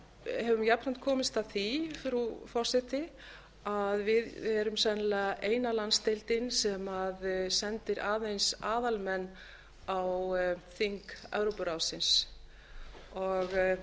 höfum jafnframt komist að því frú forseti að við erum sennilega eina landsdeildin sem sendir aðeins aðalmenn á þing evrópuráðsins það er